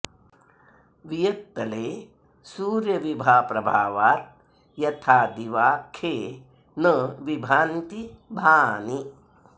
वियत्तले सूर्यविभाप्रभावाद् यथा दिवा खे न विभान्ति भानि